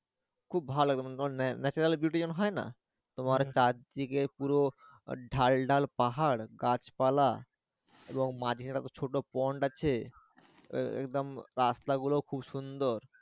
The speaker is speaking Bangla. খুব ভালো এবং তোমার natural beuty যেমন হয় না তোমার চারদিকে পুরো আহ ঢাল ঢাল পাহাড় গাছপালা এবং মাঝে একটা ছোট একটা pond আছে আহ একদম রাস্তা গুলো খুব সুন্দর।